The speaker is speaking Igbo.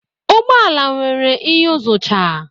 Ụgbọ ala nwere iyuzucha.